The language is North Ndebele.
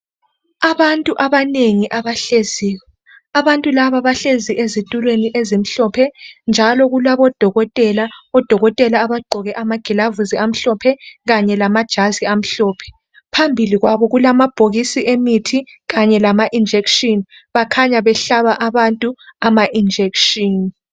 Abantu abanengi abahleziyo abantu laba bahlezi ezitulweni ezimhlophe njalo kulabodokotela abagqoke amagilavusi amhlophe kanye lamajazi amhlophe phambili kwabo kulabhokisi emithi kanye lama injeshini kukhanya behlaba abantu ama injeshini.